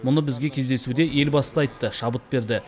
мұны бізге кездесуде елбасы да айтты шабыт берді